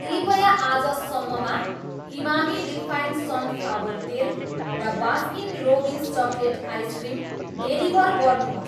कृपया आजसम्ममा Emami refine sunflower तेल र Baskin Robbins chocolate ice cream deliver गर्नुहोस्।